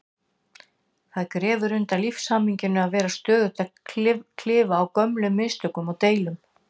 Það grefur undan lífshamingjunni að vera stöðugt að klifa á gömlum mistökum og deilum.